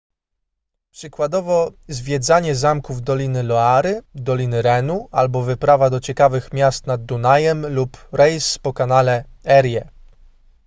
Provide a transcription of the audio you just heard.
przykładowo zwiedzanie zamków doliny loary doliny renu albo wyprawa do ciekawych miast nad dunajem lub rejs po kanale erie